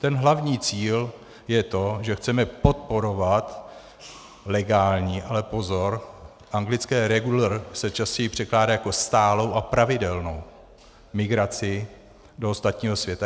Ten hlavní cíl je to, že chceme podporovat legální - ale pozor, anglické regular se častěji překládá jako stálou a pravidelnou migraci do ostatního světa.